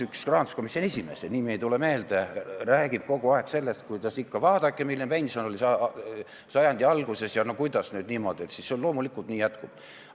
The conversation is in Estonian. Üks rahanduskomisjoni esimees, nimi ei tule meelde, räägib kogu aeg sellest, et vaadake, milline pension oli sajandi alguses, ja no kuidas nüüd siis on ikka niimoodi ja et loomulikult kõik nii ka jätkub.